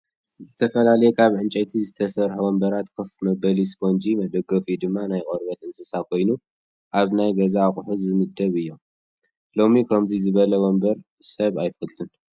ዝተፈላለዩ ካብ ዕንፀይቲ ዝተሰረሑ ወንበራት ኮፍ መበሊኡ ስፖንጅ መደገፊኡ ድማ ናይ ቆርበት እንስሳት ኮይኑ ኣብ ናይ ገዛ ኣቁሑት ዝምደቡ እዮም። ሎሚ ከምዙይ ዝበለ ወንበር ሰብ ኣይፈቱን።